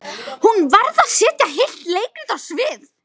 Hún varð að setja heilt leikrit á svið.